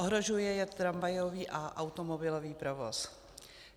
Ohrožuje je tramvajový a automobilový provoz.